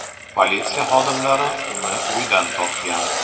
Politsiya xodimlari uni uydan topgan.